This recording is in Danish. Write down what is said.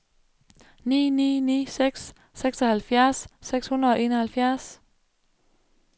ni ni ni seks seksoghalvfjerds seks hundrede og enoghalvfjerds